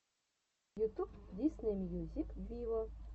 ютюб дисней мьюзик виво